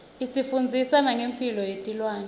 isifundzisa nengemphilo yetilwane